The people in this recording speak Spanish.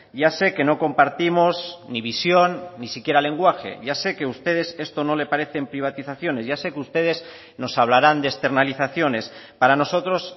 ya sé que no compartimos ni visión ni siquiera lenguaje ya sé que ustedes esto no le parecen privatizaciones ya sé que ustedes nos hablarán de externalizaciones para nosotros